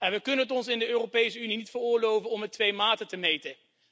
We kunnen het ons in de Europese Unie niet veroorloven om met twee maten te meten.